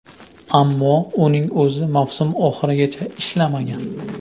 Ammo uning o‘zi mavsum oxirigacha ishlamagan.